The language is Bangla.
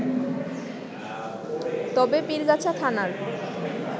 তবে পীরগাছা থানার